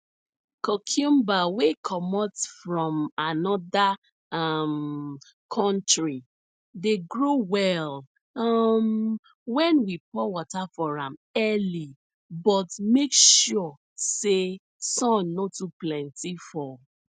cucumber wey comot from anoda um country dey grow well um wen we pour water for am early but make sure say sun no too plenty for